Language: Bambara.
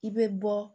I bɛ bɔ